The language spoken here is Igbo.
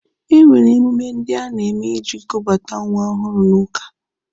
E nwere emume ndị a na-eme iji kubata nwa ọhụrụ n'ụka.